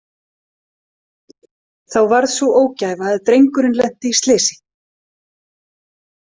Þá varð sú ógæfa að drengurinn lenti í slysi.